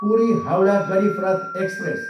Puri, Howrah Garib Rath express